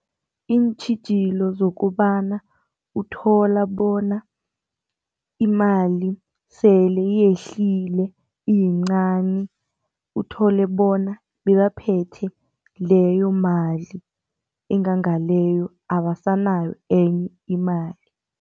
Iintjhijilo zokobana uthola bona imali sele iyehlile iyincani uthole bona, bebaphethe leyo mali engangaleyo abasanayo enye imali.